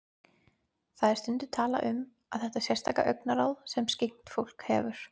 Það er stundum talað um þetta sérstaka augnaráð sem skyggnt fólk hefur.